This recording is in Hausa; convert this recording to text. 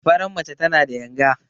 Faran mace tana da yanga.